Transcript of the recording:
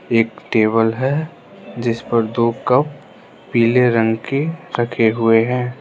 एक टेबल है जिस पर दो कप पीले रंग के रखे हुए हैं।